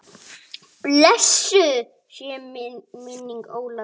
Blessuð sé minning Ólafar.